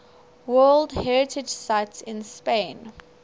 world heritage sites in spain